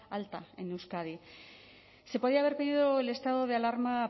alta en euskadi se podía haber pedido el estado de alarma